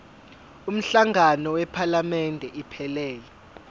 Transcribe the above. umhlangano wephalamende iphelele